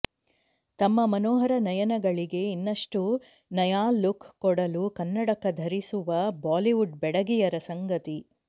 ತಮ್ಮ ಮನೋಹರ ನಯನಗಳಿಗೆ ಇನ್ನಷ್ಟು ನಯಾ ಲುಕ್ ಕೊಡಲು ಕನ್ನಡಕ ಧರಿಸುವ ಬಾಲಿವುಡ್ ಬೆಡಗಿಯರ ಸಂಗತಿ